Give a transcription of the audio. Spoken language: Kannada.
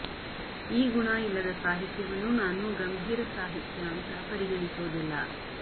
ಈ ಗುಣ ಇಲ್ಲದ ಸಾಹಿತ್ಯವನ್ನು ನಾನು ಗಂಭೀರ ಸಾಹಿತ್ಯ ಅಂತ ಪರಿಗಣಿಸೋದಿಲ್ಲ